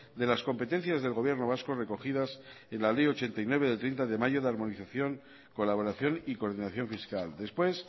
de las competencias del gobierno vasco recogidas en la ley ochenta y nueve del treinta de mayo de harmonización colaboración y coordinación fiscal después